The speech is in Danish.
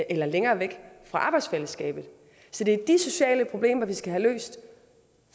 eller længere væk fra arbejdsfællesskabet så det er de sociale problemer vi skal have løst